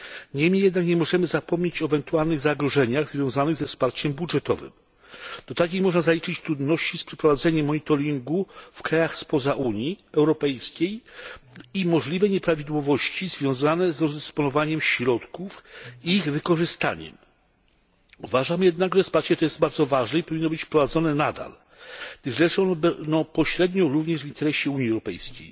Niemniej jednak nie możemy zapomnieć o ewentualnych zagrożeniach związanych ze wsparciem budżetowym. Do takich można zaliczyć trudności z przeprowadzeniem monitoringu w krajach spoza Unii Europejskiej i możliwe nieprawidłowości związane z rozdysponowaniem środków i ich wykorzystaniem. Uważam jednak, że wsparcie to jest bardzo ważne i powinno być prowadzone nadal. Leży ono pośrednio również w interesie Unii Europejskiej.